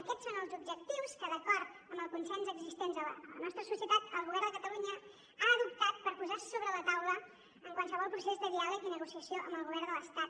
aquests són els objectius que d’acord amb el consens existent a la nostra societat el govern de catalunya ha adoptat per posar sobre la taula qualsevol procés de diàleg i negociació amb el govern de l’estat